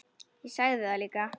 Ég sagði það líka.